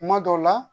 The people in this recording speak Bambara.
Kuma dɔw la